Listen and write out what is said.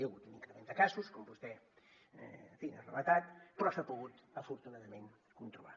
hi ha hagut un increment de casos com vostè en fi ha relatat però s’ha pogut afortunadament controlar